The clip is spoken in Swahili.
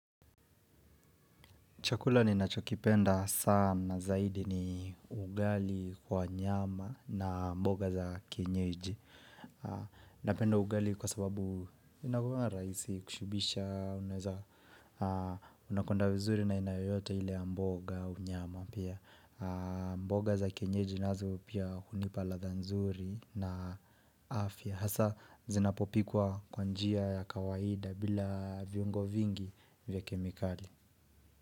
Chakula ninachokipenda sana zaidi ni ugali kwa nyama na mboga za kienyeji. Napenda ugali kwa sababu inakuanga rahisi kushibisha unakwenda vizuri na aina yoyote ile ya mboga au nyama pia. Mboga za kienyeji nazo pia hunipa ladha nzuri na afya. Hasa zinapopikwa kwa njia ya kawaida bila viungo vingi vya kemikali.